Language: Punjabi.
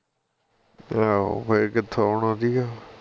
ਆਹੋ ਫੇਰ ਕਿਥੋਂ ਆਉਣਾ ਸੀ ਗਾ